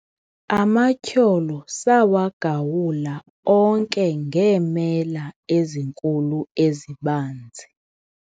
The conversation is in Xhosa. amatyholo sawagawula onke ngeemela ezinkulu ezibanzi